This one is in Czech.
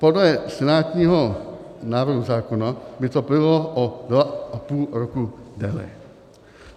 Podle senátního návrhu zákona by to bylo o dva a půl roku déle.